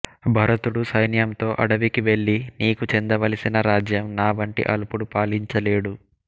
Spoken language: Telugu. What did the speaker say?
భరతుడు సైన్యంతో అడవికి వెళ్ళి నీకు చెందవలసిన రాజ్యం నావంటి అల్పుడు పాలించలేడు